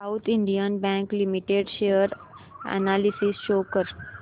south Indian bank limited share analysis show कर